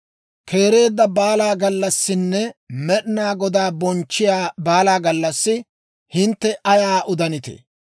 Keereedda baala gallassinne Med'inaa Godaa bonchchiyaa baala gallassi, hintte ayaa udanitee?